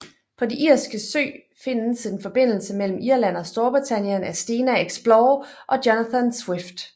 På det Irske sø findes en forbindelse mellem Irland og Storbritannien af Stena Explorer og Jonathan Swift